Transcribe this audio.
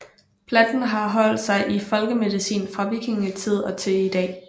Planten har holdt sig i folkemedicinen fra vikingetid og til i dag